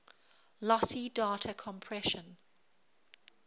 lossy data compression